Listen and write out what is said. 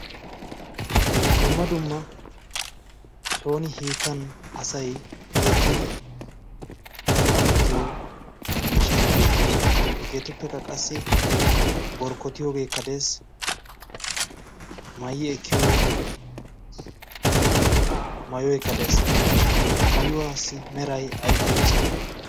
dumma dumma sooni hiitan asay yeggidi xaqqamettiyo miishshati beettoosona . hegeetuppekka qassi borkkotiyoogee kadees. maayi ekkiyo mayo ekkadees ha mayuwaassi meray aybaa misati?